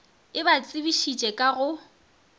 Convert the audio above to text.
e ba tsebišitše ka go